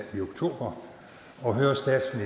i oktober